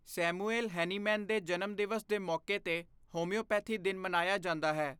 Samuel Hahnemann ਦੇ ਜਨਮਦਿਵਸ ਦੇ ਮੌਕੇ ਤੇ ਹੋੰਮਿਓਪੈਥੀ ਦਿਨ ਮਨਾਇਆ ਜਾਂਦਾ ਹੈ।